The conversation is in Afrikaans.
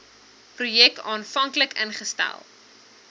projek aanvanklik ingestel